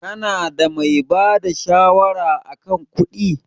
Ka na da mai bada shawara a kan kuɗi?